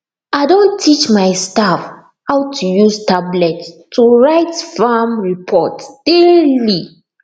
i don teach my staff how to use tablet to write farm report daily